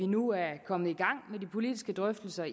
nu er kommet i gang med de politiske drøftelser